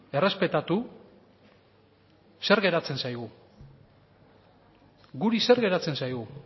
errespetatu zer geratzen zaigu guri zer geratzen zaigu